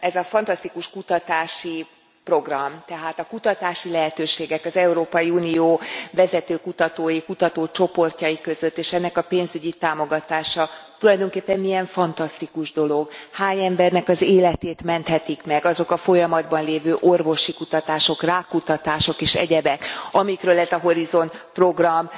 ez a fantasztikus kutatási program, tehát a kutatási lehetőségek az Európai Unió vezető kutatói, kutatócsoportjai között és ennek a pénzügyi támogatása tulajdonképpen milyen fantasztikus dolog, hány embernek az életét menthetik meg azok a folyamatban lévő orvosi kutatások, rákkutatások és egyebek, amikről ez a Horizont program